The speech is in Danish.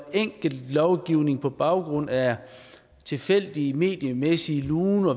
lovgivning på baggrund af tilfældige mediemæssige luner